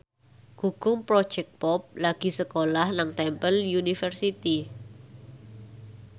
Gugum Project Pop lagi sekolah nang Temple University